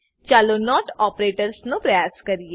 ચાલો નોટ ઓપરેટર્સનો પ્રયાસ કરીએ